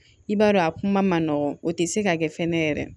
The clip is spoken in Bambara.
I b'a dɔn a kuma ma nɔgɔn o te se ka kɛ fɛnɛ yɛrɛ